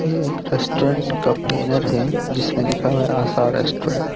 यह एक रेस्टोरेंट का बैनर है जीसमें लिखा हुआ है आशा रेस्टोरेंट ।